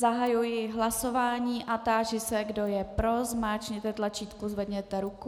Zahajuji hlasování a táži se, kdo je pro, zmáčkněte tlačítko, zvedněte ruku.